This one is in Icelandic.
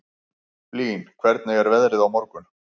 Blín, hvernig er veðrið á morgun?